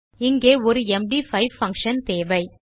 இங்கே ஒரு MD5 function தேவை